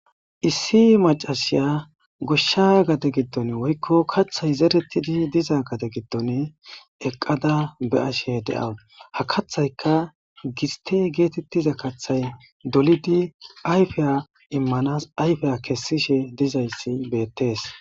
issi macashiya goshsha gade giddon woykko kaththay zerettidi diza gade giddon eqqada be ashe de7awu ha kathayka giste geetettiza kathay dolidi ayfeya immanas ayfeya kessishe dizayssi beettees